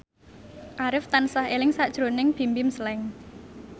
Arif tansah eling sakjroning Bimbim Slank